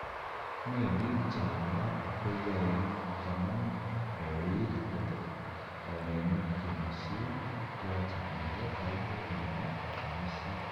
Melik che walat koyoe konam kouit kot oret nekiomisien yoche kinde piput nepo omisiet.